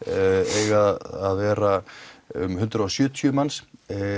eiga að vera um hundrað og sjötíu manns